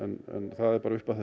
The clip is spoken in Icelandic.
það er bara upp að